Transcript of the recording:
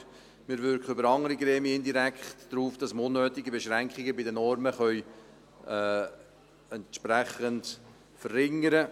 Aber wir wirken über andere Gremien indirekt darauf hin, dass wir unnötige Beschränkungen bei den Normen entsprechend verringern können.